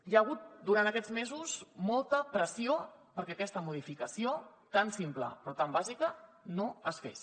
hi ha hagut durant aquests mesos molta pressió perquè aquesta modificació tan simple però tan bàsica no es fes